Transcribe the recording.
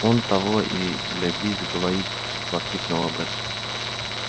он того и гляди заговорит воскликнула бэт